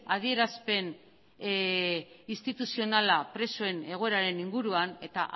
adierazpen instituzionala presoen egoeraren inguruan eta